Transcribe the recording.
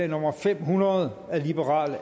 nummer fem hundrede